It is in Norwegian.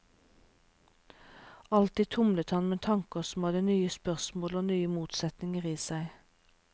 Alltid tumlet han med tanker som hadde nye spørsmål og nye motsetninger i seg.